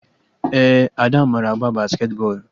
Ee, Ada mara agba basketi bọọlụ